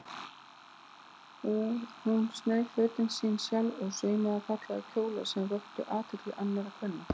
Hún sneið fötin sín sjálf og saumaði fallega kjóla sem vöktu athygli annarra kvenna.